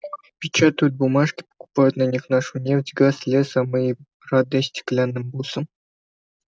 печатают бумажки покупают на них нашу нефть газ лес а мы и рады стеклянным бусам